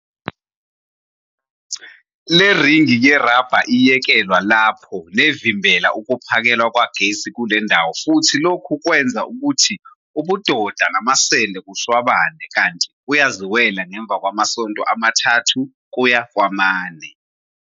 Le ringi yerabha iyekelwa lapho nevimbela ukuphakelwa kwegesi kule ndawo futhi lokhu kwenza ukuthi ubudoda namasende kushwabane kanti kuyaziwela ngemva kwamasonto amathathu kuya kwamane.